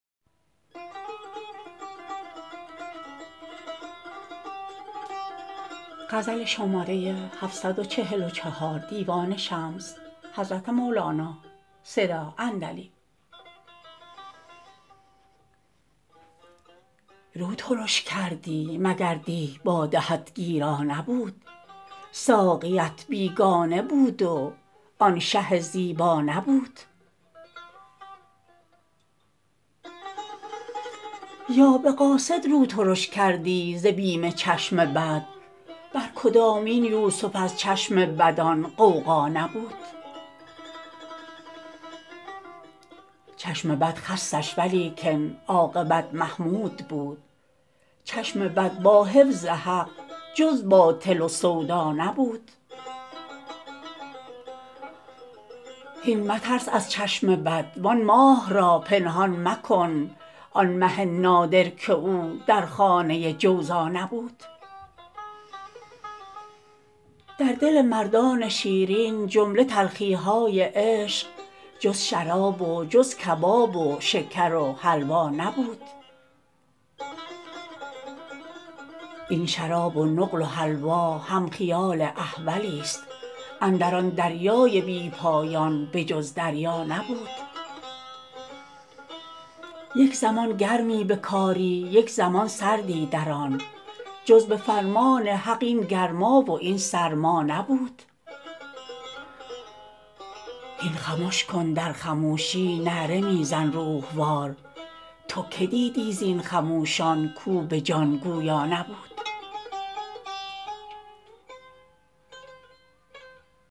رو ترش کردی مگر دی باده ات گیرا نبود ساقیت بیگانه بود و آن شه زیبا نبود یا به قاصد رو ترش کردی ز بیم چشم بد بر کدامین یوسف از چشم بد آن غوغا نبود چشم بد خستش ولیکن عاقبت محمود بود چشم بد با حفظ حق جز باطل و سودا نبود هین مترس از چشم بد وان ماه را پنهان مکن آن مه نادر که او در خانه جوزا نبود در دل مردان شیرین جمله تلخی های عشق جز شراب و جز کباب و شکر و حلوا نبود این شراب و نقل و حلوا هم خیال احولست اندر آن دریای بی پایان به جز دریا نبود یک زمان گرمی به کاری یک زمان سردی در آن جز به فرمان حق این گرما و این سرما نبود هین خمش کن در خموشی نعره می زن روح وار تو کی دیدی زین خموشان کو به جان گویا نبود